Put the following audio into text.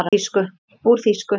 Úr þýsku